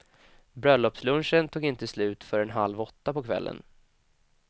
Bröllopslunchen tog inte slut förrän halv åtta på kvällen.